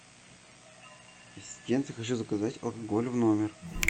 ассистент я хочу заказать алкоголь в номер